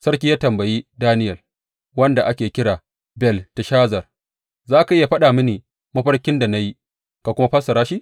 Sarki ya tambayi Daniyel wanda ake kira Belteshazar, za ka iya faɗa mini mafarkin da na yi ka kuma fassara shi?